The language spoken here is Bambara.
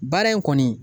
Baara in kɔni